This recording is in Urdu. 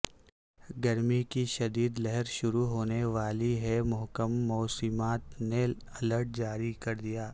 گرمی کی شدید لہر شروع ہونے والی ہے محکمہ موسمیات نے الرٹ جاری کردیا